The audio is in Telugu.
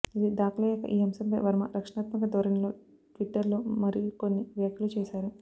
ఇది దాఖలయ్యాక ఈ అంశంపై వర్మ రక్షణాత్మక ధోరణిలో ట్విటర్లో మరికొన్ని వ్యాఖ్యలు చేశారు